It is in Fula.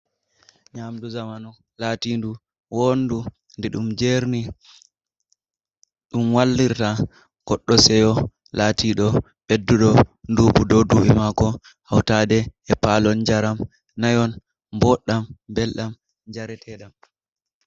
Nyamdu zamanu latindu wondu di ɗum jerni ɗum wallirta goddo seyo latido beddudo dubu do du’i mako hautade e palon jaram nayon mboɗɗam belɗam jareteɗam.